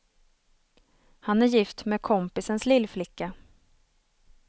Han är gift med kompisens lillflicka.